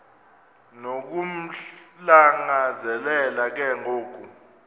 nokumlangazelela ke ngoku